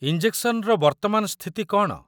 ଇଞ୍ଜେକ୍ସନର ବର୍ତ୍ତମାନ ସ୍ଥିତି କ'ଣ?